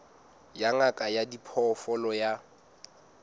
ya ngaka ya diphoofolo ya